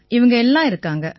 இவங்க எல்லாம் இருக்காங்க